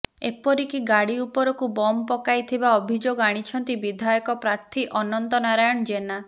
ଏପରିକି ଗାଡି ଉପରକୁ ବମ ପକାଇଥିବା ଅଭିଯୋଗ ଆଣିଛନ୍ତି ବିଧାୟକ ପ୍ରାର୍ଥୀ ଅନନ୍ତ ନାରାୟଣ ଜେନା